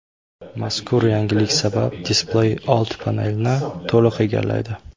Mazkur yangilik sabab displey old panelni to‘liq egallaydi.